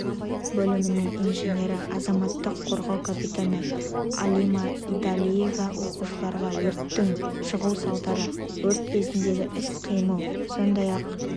бөлімінің инженері азаматтық қорғау капитаны алима идалиева оқушыларға өрттің шығу салдары өрт кезіндегі іс-қимыл сондай-ақ